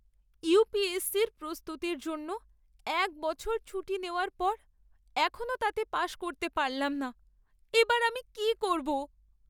UPSC র প্রস্তুতির জন্য এক বছর ছুটি নেওয়ার পর এখনও তাতে পাশ করতে পারলাম না। এবার আমি কি করবো?